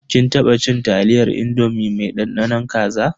Kin taba cin taliyar indomi mai dandanon kaza.